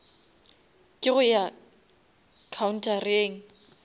ke go ya khaunthareng